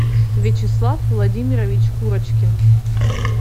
вячеслав владимирович курочкин